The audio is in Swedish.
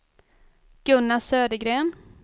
Gunnar Södergren